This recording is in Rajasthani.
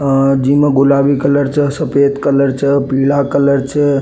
और जिम गुलाबी कलर च सफ़ेद कलर च पीला कलर छे।